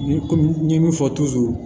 Ni kɔmi n ye min fɔ